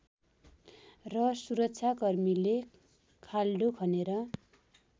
र सुरक्षाकर्मीले खाल्डो खनेर